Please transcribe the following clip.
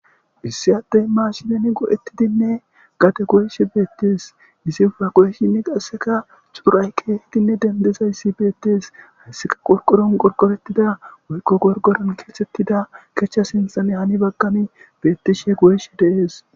Issi addey maashileni go'ettidinne gate goysh beettes isi ufa goyeshinni qasseka xuuray keehidinne dendezayssi beettees hayssika qorqoron qorqorettida woykko gorgoron keexettida kechcha sinthane hani bagkami bettishe goyesh deees.